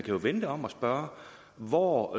jo vende det om og spørge hvor